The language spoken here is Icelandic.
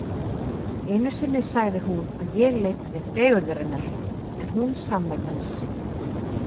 Einu sinni sagði hún að ég leitaði fegurðarinnar en hún sannleikans.